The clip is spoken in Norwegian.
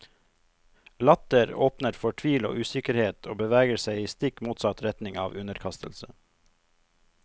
Latter åpner for tvil og usikkerhet og beveger seg i stikk motsatt retning av underkastelse.